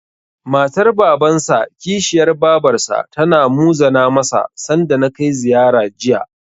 Matar Babansa/Kishiyar Babarsa tana muzana masa, sanda na kai ziyara, Jiya.